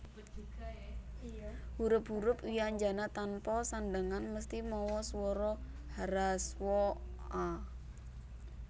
Hurup hurup wyanjana tanpa sandhangan mesthi mawa swara hraswa a